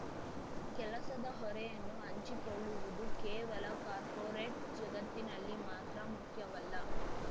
ಕೆಲಸದ ಹೊರೆಯನ್ನು ಹಂಚಿಕೊಳ್ಳುವುದು ಕೇವಲ ಕಾರ್ಪೊರೇಟ್ ಜಗತ್ತಿನಲ್ಲಿ ಮಾತ್ರ ಮುಖ್ಯವಲ್ಲ